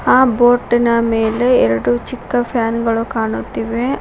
ಆ ಬೋಟ್ ನ ಮೇಲೆ ಎರಡು ಚಿಕ್ಕ ಫ್ಯಾನ್ ಗಳು ಕಾಣುತ್ತಿವೆ.